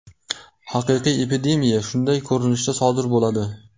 Haqiqiy epidemiya shunday ko‘rinishda sodir bo‘ladi.